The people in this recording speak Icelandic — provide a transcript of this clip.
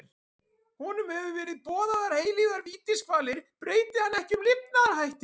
Honum hafa verið boðaðar eilífar vítiskvalir breyti hann ekki um lifnaðarhætti.